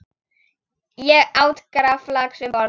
Ég át graflax um borð.